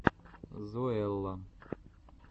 зоэлла